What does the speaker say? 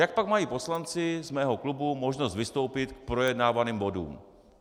Jak pak mají poslanci z mého klubu možnost vystoupit k projednávaným bodům?